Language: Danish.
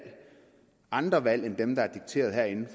andre valg end dem der er dikteret herinde